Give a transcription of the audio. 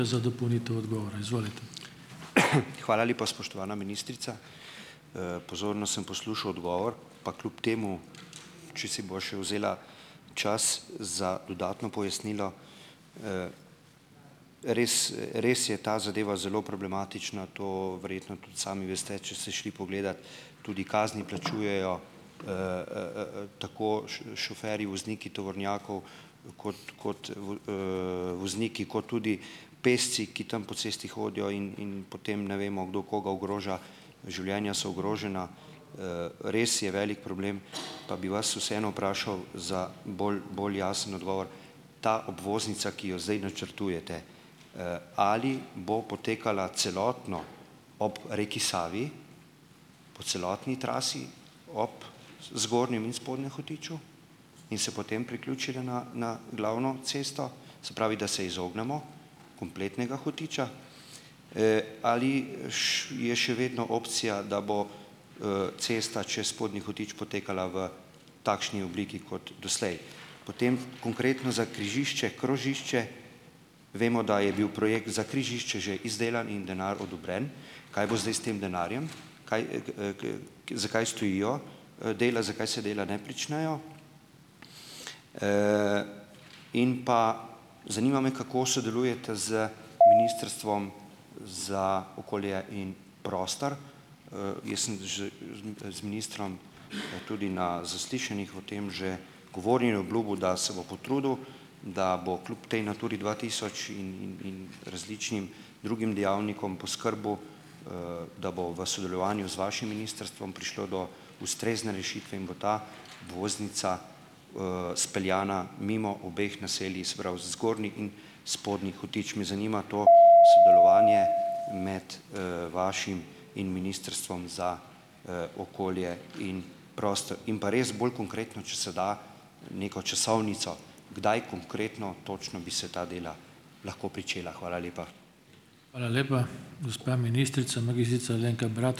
Hvala lepa, spoštovana ministrica, pozorno sem poslušal odgovor, pa kljub temu če si bova še vzela čas za dodatno pojasnilo. Res res je ta zadeva zelo problematična, to verjetno tudi sami veste, če ste šli pogledat, tudi kazni plačujejo tako šoferji, vozniki tovornjakov, kot kot vul vozniki kot tudi pešci, ki tam po cesti hodijo, in in potem ne vemo, kdo koga ogroža. Življenja so ogrožena, res je velik problem, pa bi vas vseeno vprašal za bolj bolj jasen odgovor. Ta obvoznica, ki jo zdaj načrtujete, ali bo potekala celotno ob reki Savi, po celotni trasi, ob zgornjem in spodnjem Hotiču, in se potem priključila na, na glavno cesto, se pravi, da se izognemo kompletnega Hotiča? Ali je še vedno opcija, da bo cesta čez Spodnji Hotič potekala v takšni obliki kot doslej? Potem konkretno za križišče, krožišče vemo, da je bil projekt za križišče že izdelan in denar odobren. Kaj bo zdaj s tem denarjem, kaj zakaj stojijo dela, zakaj se dela ne pričnejo? In pa, zanima me, kako sodelujete z Ministrstvom za okolje in prostor? Jaz sem že z z ministrom, tudi na zaslišanjih v tem že govoril in obljubil, da se bo potrudil, da bo kljub tej Naturi dva tisoč in in in različnim drugim dejavnikom, poskrbel, da bo v sodelovanju z vašim ministrstvom prišlo do ustrezne rešitve in bo ta obvoznica speljana mimo obeh naselij, se pravi Zgornji in Spodnji Hotič. Me zanima to sodelovanje med vašim in Ministrstvom za okolje in prostor. In pa res bolj konkretno, če se da neko časovnico, kdaj konkretno točno bi se ta dela lahko pričela. Hvala lepa.